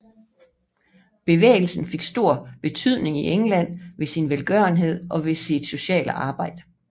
Bevægelsen fik en stor betydning i England ved sin velgørenhed og ved sit sociale arbejde